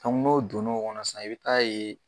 Kabin'o donna o kɔnɔ sisan i bɛ taa ye